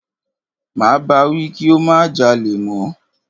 Máa bá wí kí ó má jalè mọ́.